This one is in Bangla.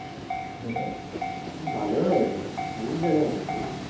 ভালোই হয়েছে, অনেক জায়গায় হয়েছে না